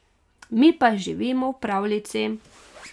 Mi pa živimo v pravljici.